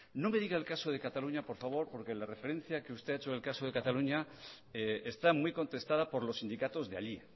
no me diga el caso de cataluña por favor porque la referencia que usted ha hecho en el caso de cataluña está muy contestada por los sindicatos de allí